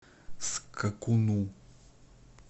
скакуну